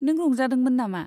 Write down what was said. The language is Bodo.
नों रंजादोंमोन नामा?